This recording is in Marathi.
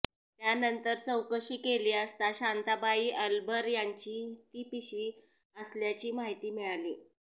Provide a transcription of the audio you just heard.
त्यानंतर चौकशी केली असता शांताबाई अलभर यांची ती पिशवी असल्याची माहिती मिळाली